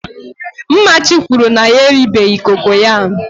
mmachi kwuru na ya eribeghi kokoyam